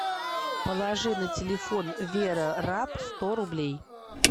положи на телефон вера раб сто рублей